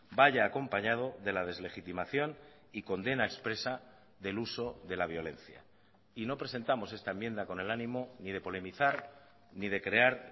vaya acompañado de la deslegitimación y condena expresa del uso de la violencia y no presentamos esta enmienda con el ánimo ni de polemizar ni de crear